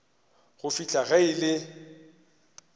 go fihla ge e le